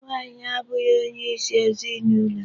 Nwaanyị abụghị onyeisi ezinụlọ.